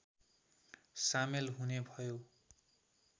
सामेल हुने भयो